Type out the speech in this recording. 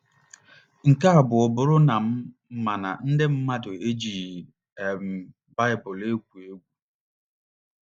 Nke abụọ abụrụ na m ma na ndị mmadụ ejighị um Baịbụl egwu egwu.